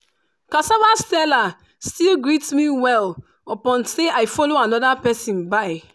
cassava seller still greet me well upon say i follow another persin buy.